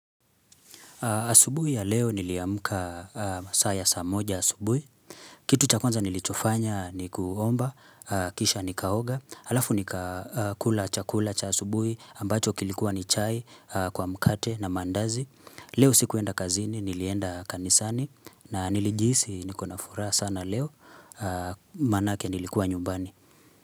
Asubuhi ya leo niliamka masaa ya moja asubuhi. Kitu cha kwanza nilichofanya ni kuomba, kisha nikaoga. Alafu nikakula chakula cha asubuhi ambacho kilikuwa ni chai kwa mkate na mandazi. Leo sikuenda kazini, nilienda kanisani na nilijihisi niko na furaha sana leo maanake nilikuwa nyumbani.